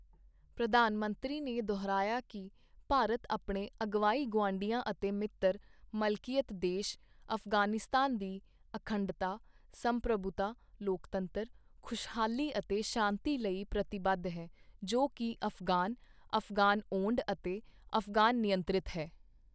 ਪ੍ਰਧਾਨ ਮੰਤਰੀ ਨੇ ਦੁਹਰਾਇਆ ਕਿ ਭਾਰਤ ਆਪਣੇ ਅਗਵਾਈ ਗੁਆਂਢੀ ਅਤੇ ਮਿੱਤਰ ਮਲਕੀਅਤ ਦੇਸ਼ ਅਫ਼ਗਾਨਿਸਤਾਨ ਦੀ ਅਖੰਡਤਾ, ਸੰਪ੍ਰਭੁਤਾ ਲੋਕਤੰਤਰ, ਖੁਸ਼ਹਾਲੀ ਅਤੇ ਸ਼ਾਂਤੀ ਲਈ ਪ੍ਰਤੀਬੱਧ ਹੈ ਜੋ ਕਿ ਅਫ਼ਗ਼ਾਨ, ਅਫ਼ਗ਼ਾਨ ਓੰਡ ਅਤੇ ਅਫ਼ਗ਼ਾਨ ਨਿਯੰਤ੍ਰਿਤ ਹੈ।